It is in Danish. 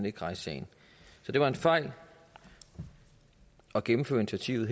ikke rejse sagen så det var en fejl at gennemføre initiativet